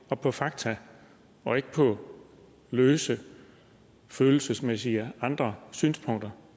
og på fakta og ikke på løse følelsesmæssige og andre synspunkter